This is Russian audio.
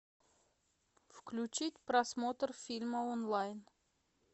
включить просмотр фильма онлайн